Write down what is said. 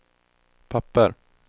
papper